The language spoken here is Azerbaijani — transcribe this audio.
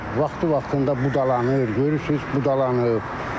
Bunlar vaxtı-vaxtında budalanır, görürsünüz budalanıb.